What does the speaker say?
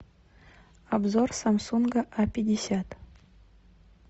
обзор самсунга а пятьдесят